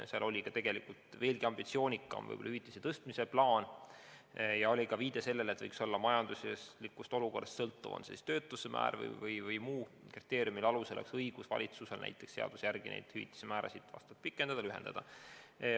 Seal oli ka tegelikult veelgi ambitsioonikam hüvitise tõstmise plaan ja oli ka viide sellele, et võiks olla majanduslikust olukorrast sõltuvad määrad või valitsusel võiks olla mõne muu kriteeriumi alusel õigus seaduse järgi nende hüvitiste määrasid kas pikendada või lühendada.